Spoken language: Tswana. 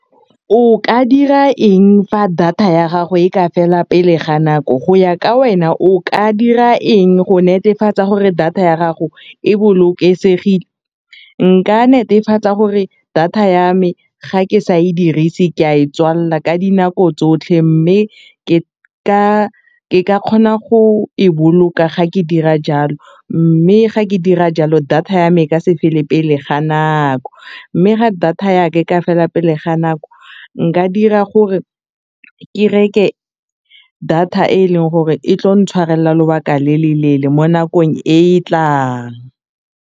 O ka dira eng fa data ya gago e ka fela pele ga nako, go ya ka wena o ka dira eng go netefatsa gore data ya gago e bolokesegile, nka netefatsa gore data ya me ga ke sa e dirise ke a e tswalela ka dinako tsotlhe mme ke ka kgona go e boloka ga ke dira jalo, mme ga ke dira jalo data ya me ka ya me e ka se fele pele ga nako, mme ga data ya ka e ka fela pelo le ga nako nka dira gore ke reke data e e leng gore e tlo ntshwarelela lobaka le le leele mo nakong e e tlang.